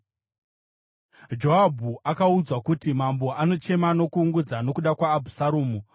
Joabhu akaudzwa kuti, “Mambo anochema nokuungudza nokuda kwaAbhusaromu.”